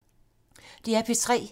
DR P3